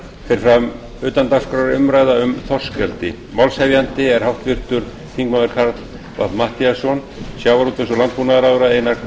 fer fram utandagskrárumræða um þorskeldi málshefjandi er háttvirtur þingmaður karl fimmti matthíasson sjávarútvegs og landbúnaðarráðherra einar